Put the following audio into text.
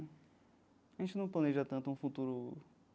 A gente não planeja tanto um futuro.